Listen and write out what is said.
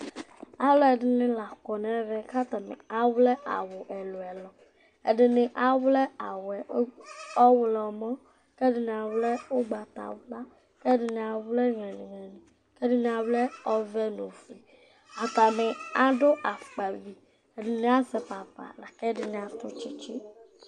Alʋɛdɩnɩ la kɔ nʋ ɛvɛ kʋ atanɩ awlɛ awʋ ɛlʋ-ɛlʋ Ɛdɩnɩ awlɛ awʋ yɛ ɔɣlɔmɔ kʋ ɛdɩnɩ awlɛ ʋgbatawla kʋ ɛdɩnɩ awlɛ nyalɩ-nyalɩ kʋ ɛdɩnɩ awlɛ ɔvɛ nʋ ofue Atanɩ adʋ afʋkpavi Ɛdɩnɩ azɛ papa la kʋ ɛdɩnɩ atʋ tsɩtsɩ